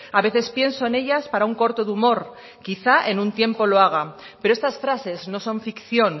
a veces pienso en ellas para un corto de humor quizá en un tiempo lo haga pero estas frases no son ficción